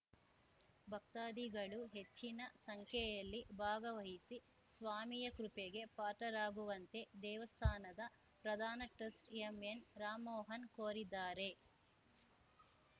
ಭಕ್ತಾಧಿಗಳು ಹೆಚ್ಚಿನ ಸಂಖ್ಯೆಯಲ್ಲಿ ಭಾಗವಹಿಸಿ ಸ್ವಾಮಿಯ ಕೃಪೆಗೆ ಪಾತ್ರರಾಗುವಂತೆ ದೇವಸ್ಥಾನದ ಪ್ರಧಾನ ಟ್ರಸ್ಟ್ ಎಂಎನ್‌ರಾಮ್ ಮೋಹನ್ ಕೋರಿದ್ದಾರೆ